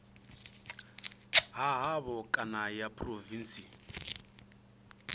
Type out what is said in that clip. ha havho kana ya phurovintsi